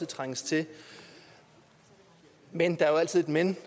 trænges til men der er jo altid et men